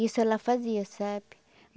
Isso ela fazia, sabe?